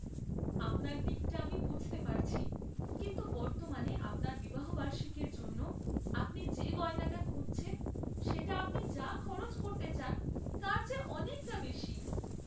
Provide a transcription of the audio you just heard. আপনার দিকটা আমি বুঝতে পারছি, কিন্তু বর্তমানে আপনার বিবাহবার্ষিকীর জন্য আপনি যে গয়নাটা খুঁজছেন সেটা আপনি যা খরচ করতে চান তার চেয়ে অনেকটা বেশী।